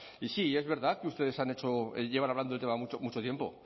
y sí es verdad que ustedes han hecho llevan hablando del tema mucho tiempo